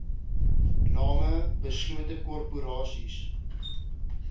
name beslote korporasies